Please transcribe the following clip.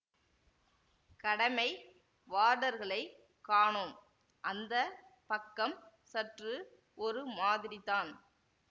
கடமை வார்டர்களைக் காணோம் அந்த பக்கம் சற்று ஒரு மாதிரித்தான்